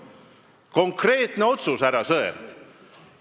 See on konkreetne otsus, härra Sõerd.